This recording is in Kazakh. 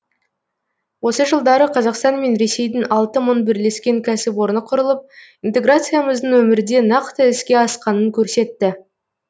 осы жылдары қазақстан мен ресейдің алты мың бірлескен кәсіпорны құрылып интеграциямыздың өмірде нақты іске асқанын көрсетті